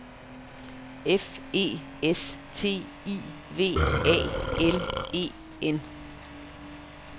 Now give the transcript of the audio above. F E S T I V A L E N